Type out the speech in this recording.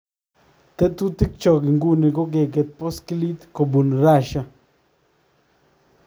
Tetutikchok inguni ko kekeey paskiliit kobuun Russia